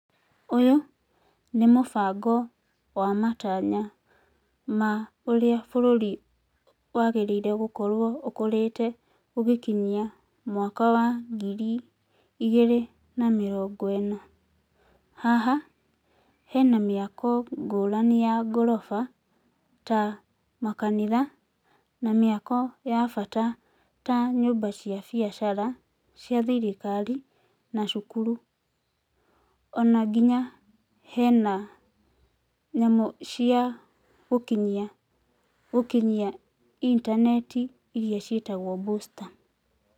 Ũyũ nĩ mũbango wa matanya ma ũrĩa bũrũri wagĩrĩire gũkorwo ũkũrĩte gũgĩkinyia mwaka wa ngiri igĩrĩ na mĩrongo ĩna. Haha, hena mĩako ngũrani ya ngorofa, ta makanitha, na mĩako ya bata ta nyũmba cia biashara cia thirikari na cukuru. Ona nginya hena, nyamũ cia gũkinyia internet iria ciĩtagwo booster